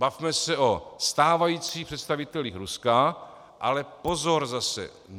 Bavme se o stávajících představitelích Ruska - ale pozor zase!